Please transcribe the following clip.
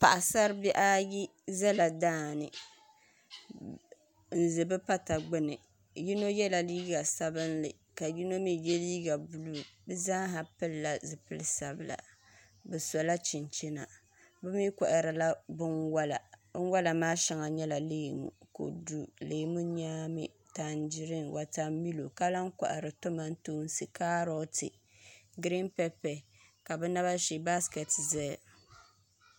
Paɣasari bihi ayi ʒɛla daani n ʒi bi pata gbuni yino yɛla liiga sabinli ka yino mii yɛ liiga buluu bi zaa ha pilila zipili sabila bi sola chinchina bi mii koharila binwola binwola maa shɛŋa nyɛla leemu kodu leemu nyaami tanjiriin wotamilo ka lahi kohari kaaroti giriin pɛpɛ ka bi naba shee baskɛti ʒɛya